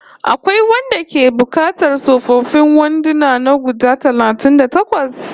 Akwai wanda yake buƙatar tsofaffin wanduna na guda talatin da takwas?